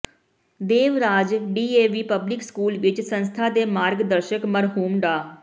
ਦੇਵ Raj DAV public school ਵਿੱਚ ਸੰਸਥਾ ਦੇ ਮਾਰਗ ਦਰਸ਼ਕ ਮਰਹੂਮ ਡਾ